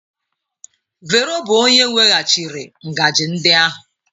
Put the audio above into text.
Vero bụ onye weghachiri ngaji ndị ahụ.